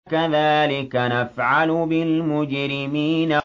كَذَٰلِكَ نَفْعَلُ بِالْمُجْرِمِينَ